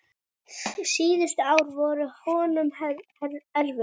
Síðustu ár voru honum erfið.